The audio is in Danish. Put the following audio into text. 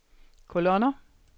kolonner